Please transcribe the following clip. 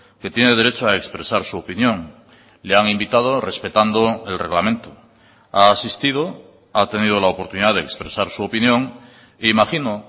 que tiene derecho a expresar su opinión le han invitado respetando el reglamento ha asistido ha tenido la oportunidad de expresar su opinión e imagino